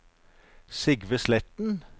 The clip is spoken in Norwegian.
Sigve Sletten